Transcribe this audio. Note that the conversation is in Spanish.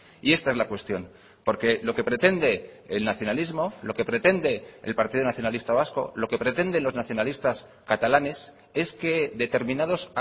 y esta es la cuestión porque lo que pretende el nacionalismo lo que pretende el partido nacionalista vasco lo que pretenden los nacionalistas catalanes es que determinados